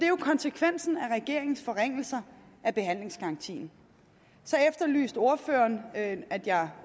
jo konsekvensen af regeringens forringelser af behandlingsgarantien så efterlyste ordføreren at at jeg